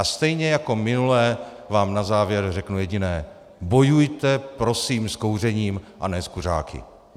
A stejně jako minule vám na závěr řeknu jediné: Bojujte prosím s kouřením a ne s kuřáky.